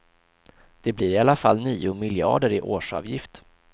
Det blir i alla fall nio miljarder i årsavgift.